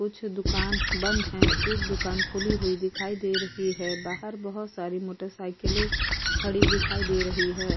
कुछ दुकान बंद है। एक दुकान खुली हुई दिखाई दे रही है। बाहर बहुत साड़ी मोटरसाइकिले खड़ी दिखाई दे रही है।